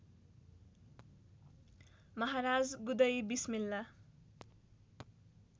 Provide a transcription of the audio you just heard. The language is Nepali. महाराज गुदई बिस्मिल्ला